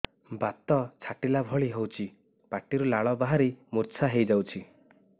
ବାତ ଛାଟିଲା ଭଳି ହଉଚି ପାଟିରୁ ଲାଳ ବାହାରି ମୁର୍ଚ୍ଛା ହେଇଯାଉଛି